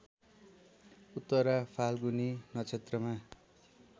उत्तरा फाल्गुनी नक्षत्रमा